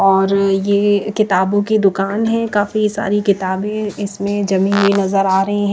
और ये किताबों की दुकान है काफी सारी किताबें इसमें जमी हुई नजर आ रही है।